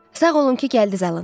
Sağ olun ki, gəldiz, Alan.